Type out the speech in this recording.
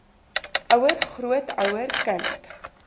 ouer grootouer kind